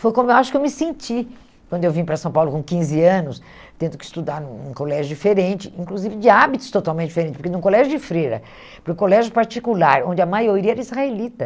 Foi como eu acho que eu me senti quando eu vim para São Paulo com quinze anos, tendo que estudar num num em um colégio diferente, inclusive de hábitos totalmente diferentes, porque num colégio de freira, para um colégio particular, onde a maioria era israelita.